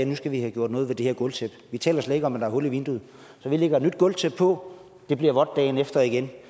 nu skal have gjort noget ved det her gulvtæppe vi taler slet ikke om er hul i vinduet så vi lægger et nyt gulvtæppe på det bliver vådt dagen efter igen